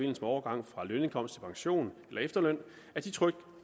med overgang fra lønindkomst til pension eller efterløn at de trygt